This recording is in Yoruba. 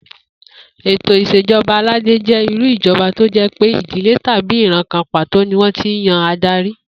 Ètò ìs̩èjo̩ba aládé jé̩ irú ìjo̩ba tó jé̩ pé ìdílé tàbí ìran kan pàtó ni wó̩n ti ń yan adarí